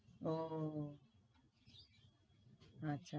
ও ও আচ্ছা।